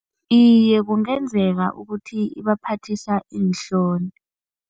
Iye, kungenzeka ukuthi ibaphathisa iinhloni.